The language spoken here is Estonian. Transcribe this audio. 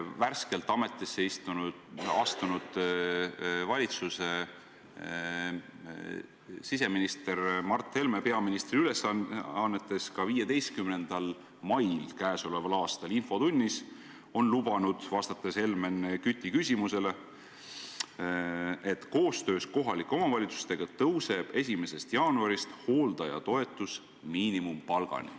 Värskelt ametisse astunud siseminister Mart Helme lubas peaministri ülesannetes 15. mai infotunnis Helmen Küti küsimusele vastates, et koostöös kohalike omavalitsustega tõuseb 1. jaanuarist hooldajatoetus miinimumpalgani.